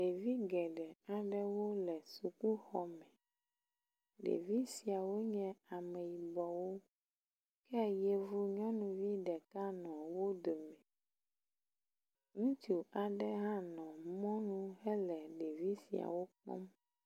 Ɖevi geɖe aɖewo le sukuxɔme. Ɖevi siawo nye ameyibɔwo ke yevu nyɔnuvi ɖeka nɔ wo dome. Ŋutsu aɖe hã nɔ mɔnu hele ɖevi siawo kpɔm.